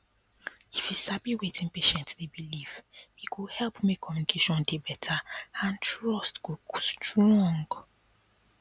if you sabi wetin patient dey believe e go help make communication dey better and trust go strong